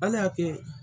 Ala y'a kɛ